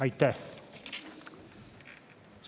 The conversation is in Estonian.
Aitäh!